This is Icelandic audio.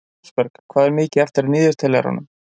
Rósberg, hvað er mikið eftir af niðurteljaranum?